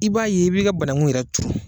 I b'a ye i b'i ga banangu yɛrɛ tuuru